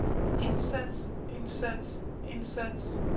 indsats indsats indsats